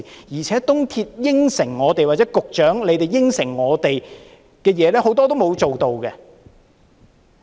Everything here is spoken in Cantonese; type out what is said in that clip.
而且，港鐵公司、副局長答應過我們的事，很多都沒有做到。